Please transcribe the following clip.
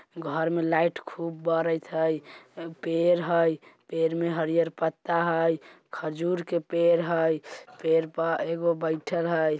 बाहर में लाइट खूब बरेत हई पेर है पेर में हरिहर पत्ता हई खजूर के पेर हई पेर पर एगो बैठल हई।